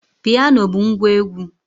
Piano bụ ngwa egwu